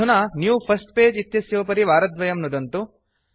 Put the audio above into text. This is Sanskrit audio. अधुना न्यू फर्स्ट पगे इत्यस्योपरि वारद्वयं नुदन्तु